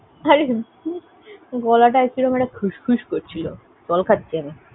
আরে গলাটা কিরম একটা খুশখুশ করছিল জল খাচ্ছি আমি।